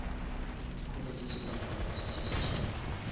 colleges le di univesities tša